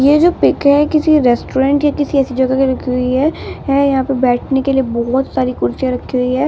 यह जो पिक है किसी रेस्टोरेंट या किसी ऐसी जगह की रखी हुई है है यहां पे बैठने के लिए बहुत सारी कुर्सियां रखी है।